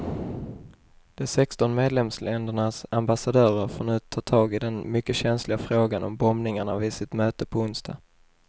De sexton medlemsländernas ambassadörer får nu ta tag i den mycket känsliga frågan om bombningar vid sitt möte på onsdag.